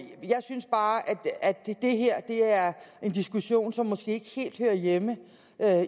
synes bare at det her er en diskussion som måske ikke helt hører hjemme